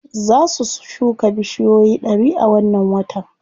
Za su shuka bushiyoyi ɗari a wannan watan.